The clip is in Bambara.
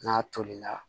N'a tolila